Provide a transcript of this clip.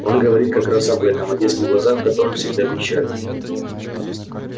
он говорит как раз об этом о детских глазах в которых всегда печаль